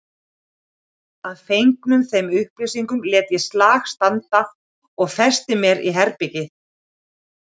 Að fengnum þeim upplýsingum lét ég slag standa og festi mér herbergið.